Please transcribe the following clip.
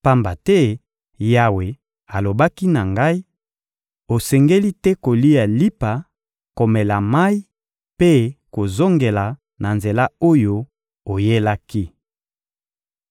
pamba te Yawe alobaki na ngai: «Osengeli te kolia lipa, komela mayi mpe kozongela na nzela oyo oyelaki.»